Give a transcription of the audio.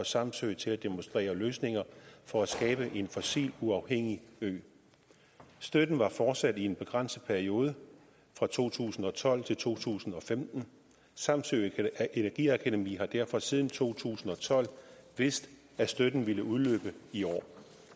samsø til at demonstrere løsninger for at skabe en fossiluafhængig ø støtten var fortsat i en begrænset periode fra to tusind og tolv til to tusind og femten og samsø energiakademi har derfor siden to tusind og tolv vidst at støtten ville udløbe i år